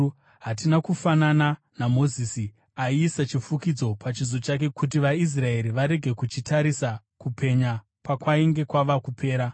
Hatina kufanana naMozisi aiisa chifukidziro pachiso chake kuti vaIsraeri varege kuchitarisa kupenya pakwainge kwava kupera.